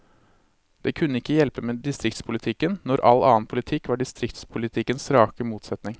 Det kunne ikke hjelpe med distriktspolitikken, når all annen politikk var distriktspolitikkens rake motsetning.